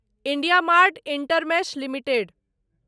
IndiaMART InterMESH limited